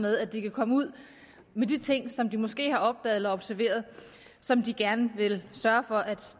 med at de kan komme ud med de ting som de måske har opdaget eller observeret som de gerne vil sørge for at